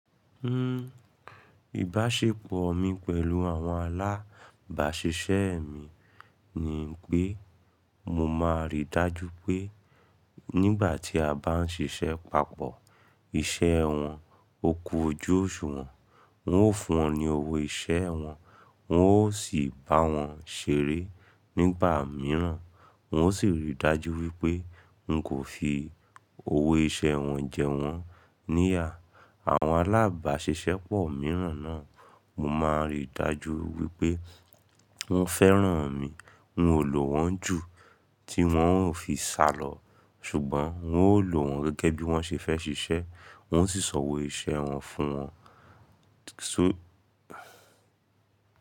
Ìbáṣepọ̀ mi pẹ̀lú àwọn alábàáṣiṣẹ́ mi ni pé mo máa ríi dájú pé nígbà tí a bá ń ṣiṣẹ́ papọ̀, iṣẹ́ wọn ó kú ojú oṣù wọn, n ó fún wọn ní owó iṣẹ́ wọn, wọn ó sì bá wọn ṣeré nígbà mìíràn. Wọ́n ó sì rí i dájú wípé ń kò fi owó iṣẹ́ wọn jẹ wọ́n níyà. Àwọn alábáṣiṣẹ́ pọ̀ mìíràn náà mo máa ń rí i dájú wípé wọ́n fẹ́ràn mi, wọn ò lò wọ́n jù tí wọn ò fi sálọ. Ṣùgbọ́n wọn ó lò wọ́n gẹ́gẹ́ bí wọ́n ṣe fẹ́ ṣiṣẹ́, wọn ó sì san owó iṣẹ́ wọn fún wọn. So.